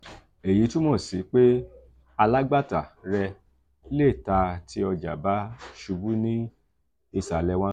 èyí túmọ sí pé alágbàtà rẹ lé tà tí ọja bá ṣubú ní ìsàlẹ̀ one